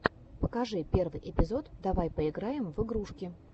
покажи первый эпизод давай поиграем в игрушки